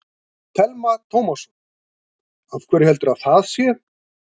Telma Tómasson: Af hverju heldurðu að það sé?